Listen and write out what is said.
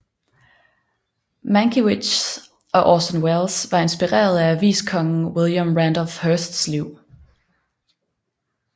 Mankiewicz og Orson Welles var inspireret af aviskongen William Randolph Hearsts liv